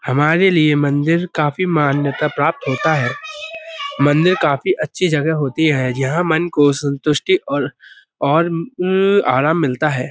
हमारे लिये मंदिर काफी मान्यता प्राप्त होता है। मंदिर काफी अच्छी जगह होती है जहाँ मन संतुष्टी और और उम्म आराम मिलता है।